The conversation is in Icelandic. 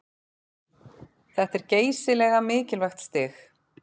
Þetta er geysilega mikilvægt stig